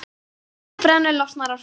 Þegar áfengi brennur losnar orka.